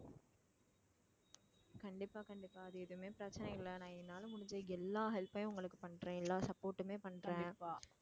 கண்டிப்பா கண்டிப்பா அது எதுவுமே பிரச்சனை இல்லை நான் என்னால முடிஞ்ச எல்லா help மே உங்களுக்கு பண்றேன் எல்லா support உமே பண்றேன்